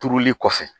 Turuli kɔfɛ